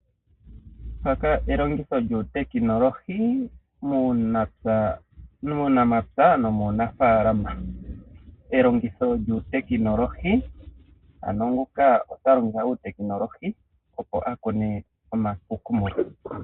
Mpaka elongitho lyuutekinolohi muunamapya nomuunafaalama. Elongitho lyuutekinolohi, ano nguka okwa longitha uutekinolohi, opo a kune